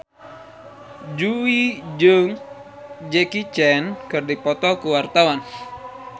Jui jeung Jackie Chan keur dipoto ku wartawan